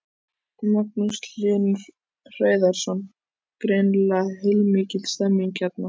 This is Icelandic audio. Magnús Hlynur Hreiðarsson: Greinilega heilmikil stemning hérna?